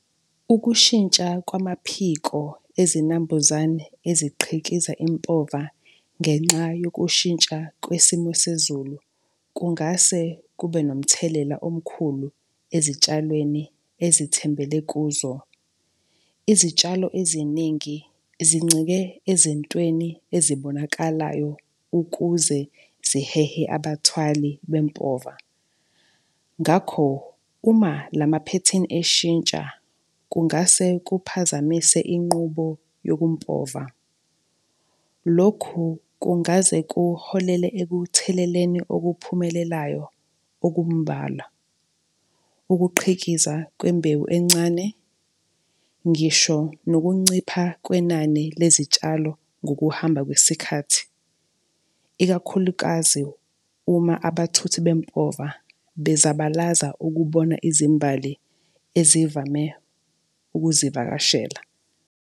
Ukushintsha kwamaphiko ezinambuzane eziqhikiza impova ngenxa yokushintsha kwesimo sezulu kungase kube nomthelela omkhulu ezitshalweni ezithembele kuzo. Izitshalo eziningi zincike ezintweni ezibonakalayo ukuze zihehe abathwali bempova. Ngakho, uma la maphethini eshintsha kungase kuphazamise inqubo yokumpova. Lokhu kungaze kuholele ekutheleleleni okuphumelelayo okumbala, ukuqhikiza kwembewu encane. Ngisho nokuncipha kwenani lezitshalo ngokuhamba kwesikhathi, ikakhulukazi uma abathuthi bempova bezabalaza ukubona izimbali ezivame ukuzivakashela.